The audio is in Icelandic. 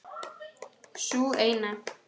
Sú eina!